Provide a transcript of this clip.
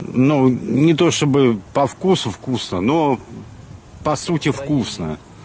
ну не то чтобы по вкусу вкусно но по сути вкусно